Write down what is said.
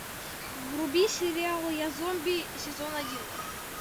вруби сериал я зомби сезон один